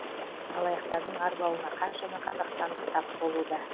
алаяқтардың арбауына қаншама қазақстандық тап болуда